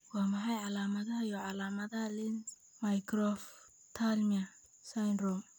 Waa maxay calaamadaha iyo calaamadaha Lenz microphthalmia syndrome?